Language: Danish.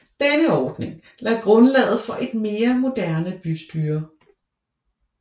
Denne ordning lagde grundlaget for et mere moderne bystyre